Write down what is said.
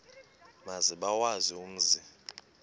maze bawazi umzi